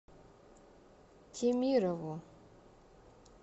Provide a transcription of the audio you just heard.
темирову